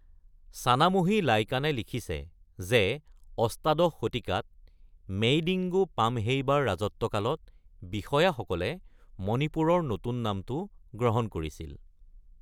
ছানামহি লাইকানে লিখিছে যে অষ্টাদশ শতিকাত মেইডিংগু পামহেইবাৰ ৰাজত্বকালত বিষয়াসকলে মণিপুৰৰ নতুন নামটো গ্ৰহণ কৰিছিল।